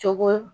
Cogo